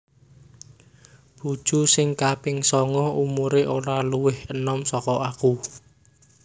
Bojo sing kaping songo umure ora luwih enom soko aku